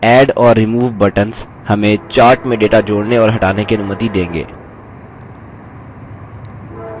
add और remove buttons हमें chart में data जोड़ने और हटाने की अनुमति देंगे